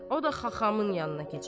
O da xaxamın yanına keçər.